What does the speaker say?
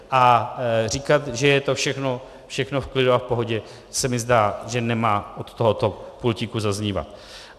A říkat, že je to všechno v klidu a v pohodě, se mi zdá, že nemá od tohoto pultíku zaznívat.